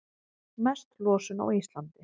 Mest losun á Íslandi